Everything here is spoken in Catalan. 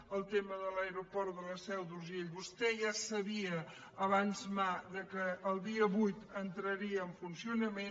en el tema de l’aeroport de la seu d’urgell vostè ja sabia abans que el dia vuit entraria en funcionament